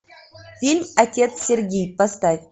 фильм отец сергий поставь